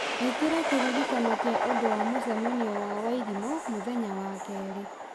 ĩkĩra kĩririkano kĩa ũndũ wa mũcemanio na wairimũ mũthenya wa kerĩ